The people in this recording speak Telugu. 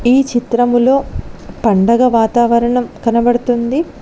ఈ చిత్రములో పండగ వాతావరణం కనబడుతుంది.